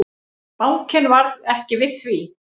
Bankinn varð ekki við því.